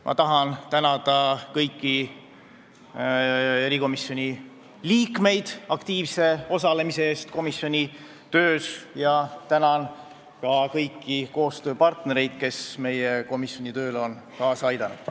Ma tahan tänada kõiki erikomisjoni liikmeid aktiivse osalemise eest komisjoni töös ja tänan ka kõiki koostööpartnereid, kes meie komisjoni tööle on kaasa aidanud.